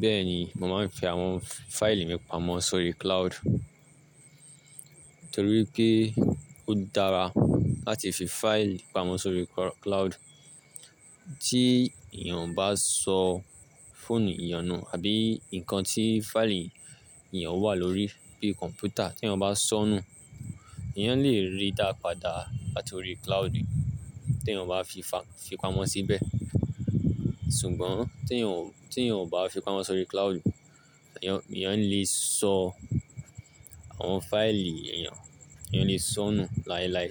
Bẹ́ẹ̀ni, mo máa ń fi àwọn fáìlì mi pamọ́ sórí cloud, torí pé ó dára láti fi fáìlì pamọ́ sórí cloud. Tí èèyàn bá sọ fóònù èèyàn nù àbí nǹkan tí fáìlì èèyàn wà lórí bíi kọ̀mpútà tí èèyàn bá sọ nù, èèyàn lè rí i dá padà látọrí cloud, tí èèyàn bá fi pamọ́ síbẹ̀. Ṣùgbọ́n tí èèyàn ò bá fi pamọ́ sórí cloud, èèyàn lè sọ àwọn fáìlì èèyàn, èèyàn lè sọ nù láilái